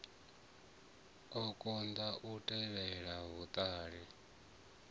a konḓa u tevhela vhuṱala